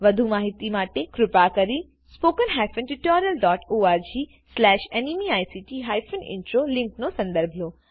વધુ માહીતી માટે કૃપા કરી httpspoken tutorialorgNMEICT Intro લીંકનો સંદર્ભ લો